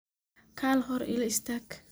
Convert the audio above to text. Kaal xor ila istag.